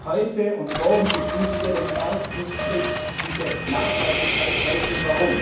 Heute und morgen beschließen wir den ersten Schritt, diese Nachhaltigkeitsrechnung.